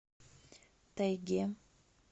тайге